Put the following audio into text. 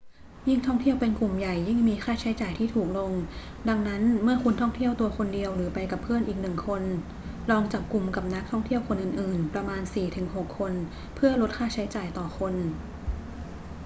ยิ่งท่องเที่ยวเป็นกลุ่มใหญ่ยิ่งมีค่าใช้จ่ายที่ถูกลง ดังนั้น เมื่อคุณท่องเที่ยวตัวคนเดียวหรือไปกับเพื่อนอีกหนึ่งคน ลองจับกลุ่มกับนักท่องเที่ยวคนอื่น ๆ ประมาณสี่ถึงหกคนเพื่อลดค่าใช้จ่ายต่อคน